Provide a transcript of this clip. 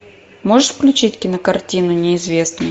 можешь включить кинокартину неизвестный